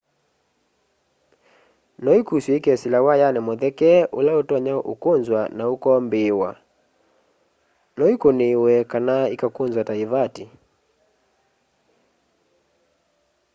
no ikusw'e ikesila wayani mutheke ula utonya ukunzwa na ukombiiwa no ikuniiwe kana ikakunzwa ta ivati